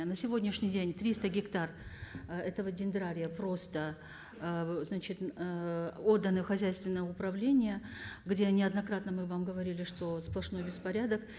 на сегодняшний день триста гектар ы этого дендрария просто ы значит ыыы отданы в хозяйственное управление где неоднократно мы вам говорили что сплошной беспорядок